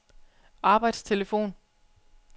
arbejdstelefon